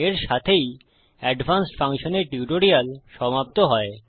এর সাথেই advanced functions এর টিউটোরিয়াল সমাপ্ত হয়